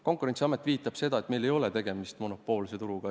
Konkurentsiamet viitab sellele, et meil ei ole tegemist monopoolse turuga.